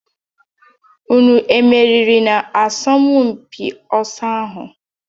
Unu emeriri n'asọmpị ọsọ ahụ?